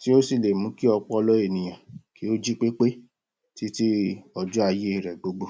tí ó sì le mú kí ọpọlọ ènìyàn jí pépé títí ọjọ́ ayé rẹ gbogbo